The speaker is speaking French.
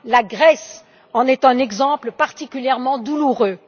La Grèce en est un exemple particulièrement douloureux.